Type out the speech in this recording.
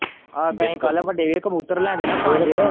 ਆਹੋ ਤੇ ਅਸੀਂ ਕੱਲ ਵੱਡੇ ਵੀ ਕਬੂਤਰ ਲਿਆਂਦੇ ਨਾ ਪੰਜ।